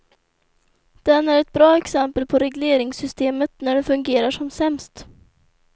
Den är ett bra exempel på regleringssystemet när det fungerar som sämst.